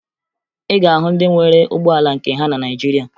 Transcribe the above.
Ị ga-ahụ ndị nwere ụgbọala nke ha na Naịjirịa